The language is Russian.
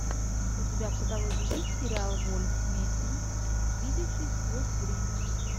у тебя в каталоге есть сериал вольф мессинг видевший сквозь время